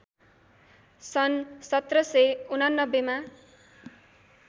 सन् १७८९ मा